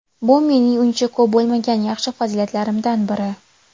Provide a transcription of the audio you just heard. Bu mening uncha ko‘p bo‘lmagan yaxshi fazilatlarimdan biri.